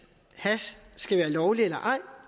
hash skal være lovligt eller ej